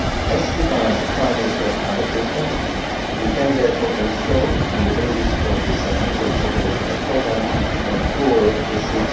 As regards financial allocations, we can therefore ensure on the basis of the submitted operational programmes, that all the EUR